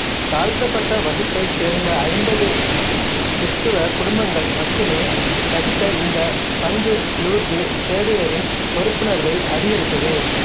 தாழ்த்தப்பட்ட வகுப்பைச் சேர்ந்த ஐம்பது கிறிஸ்தவ குடும்பங்கள் மட்டுமே வசித்த இந்த பங்கு லூர்து சேவியரின் பொறுப்புணர்வை அதிகரித்தது